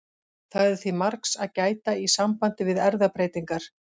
Það er því margs að gæta í sambandi við erfðabreytingar.